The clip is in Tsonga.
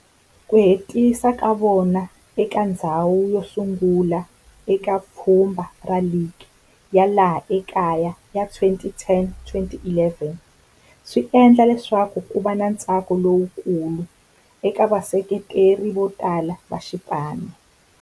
Ku hetisa ka vona eka ndzhawu yosungula eka pfhumba ra ligi ya laha kaya ya 2010-11 swi endle leswaku kuva na ntsako lowukulu eka vaseketeri votala va xipano.